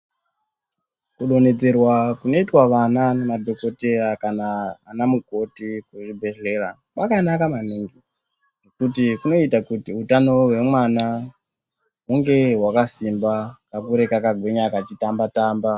Kudonhedzerwa kunoitwa vana nemadhokoteya kana ana mukoti kuzvibhedhleya. Kwakanaka maningi nekuti kunoita kuti utano hwemwana hunge hwakasimba kakure kakagwinya kachitamba-tamba.